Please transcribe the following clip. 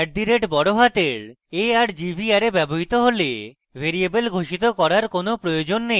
at the rate বড়হাতের a r g v array ব্যবহৃত হলে ভ্যারিয়েবল ঘোষিত করার কোন প্রয়োজন নেই